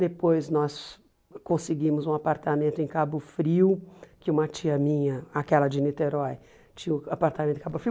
Depois nós conseguimos um apartamento em Cabo Frio, que uma tia minha, aquela de Niterói, tinha um apartamento em Cabo Frio.